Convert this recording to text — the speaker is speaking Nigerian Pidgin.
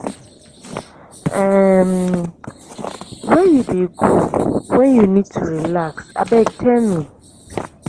um where you dey go wen you need to relax abeg tell me?